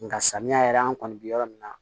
Nga samiya yɛrɛ an kɔni bi yɔrɔ min na